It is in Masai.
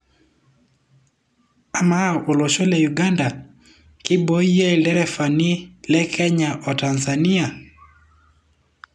Ama, olosho le Uganga keiboyie lderefani le Kenya wo Tanzania?